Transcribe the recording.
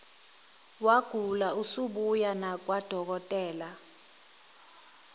wagula usubuya nakwadokotela